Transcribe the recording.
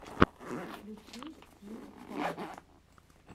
включи стимпанк